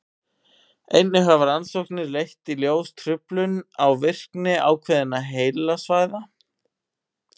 einnig hafa rannsóknir leitt í ljós truflun á virkni ákveðinna heilasvæða